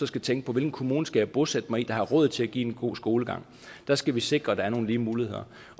skal tænke hvilken kommune skal jeg bosætte mig i der har råd til at give en god skolegang der skal vi sikre at der er nogle lige muligheder